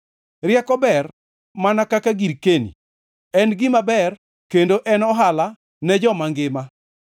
Rieko ber mana kaka girkeni, en gima ber kendo en ohala ne joma mangima.